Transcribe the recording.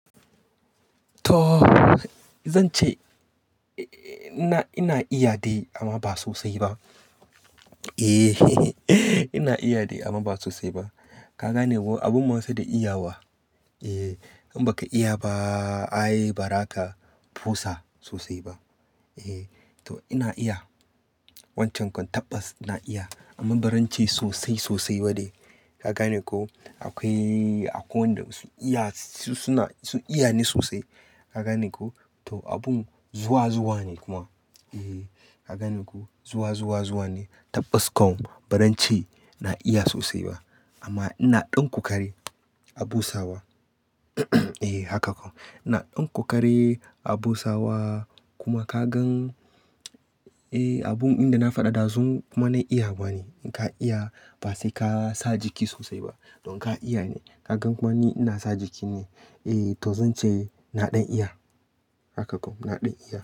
To zan ce ina iya dai amma ba sosai ba. Ina iya dai amma ba sosai ba. Ka gane ko abun masu da iyawa? Eh in baka iya ba, ai ba za ka busa sosai ba. Eh to ina iya wancan kon tabbas iya iya amma barance sosai sosai ba ne. Ka gane ko? Akwai, akwai wanda bauu iya su suna, su iya ne sosai. Ka gane ko? To abun zuwa zuwa ne kuma. Ka gane ko? Zuwa zuwa zuwa ne. Tabas kom barance na iya sosai ba. Amma ina ɗan kokari a busawa. Eh haka kom. Ina ɗan kokari a busawa kuma ka gan eh abun inda na faɗa ɗazu ma na iya ba ne. In ka iya ba sai ka sa jiki sosai ba. Don ka iya ne. Ka gan kuma ni ina sa jiki ne. Eh to zan ce na ɗan iya. Haka kom na ɗan iya.